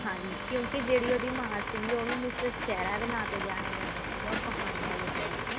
ਹਾਂਜੀ ਕਿਉਂਕਿ ਜਿਹੜੀ ਉਹਦੀ ਮਾਂ ਸੀ ਉਹਨੂੰ miss shaira ਦੇ ਨਾ ਤੇ ਜਾਣੀਆਂ ਜਾਂਦਾ ਸੀਗਾ ਉਹ ਕਹਾਣੀਆਂ ਲਿੱਖਦੀ ਸੀ